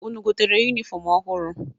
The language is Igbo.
Unu gotere yunifọmụ ọhụrụ?